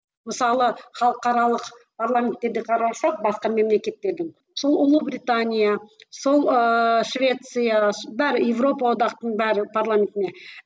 мысалы халықаралық парламенттерде қарасақ басқа мемлекеттердің сол ұлыбритания сол ыыы швеция бәрі европаодақтық бәрі парламентіне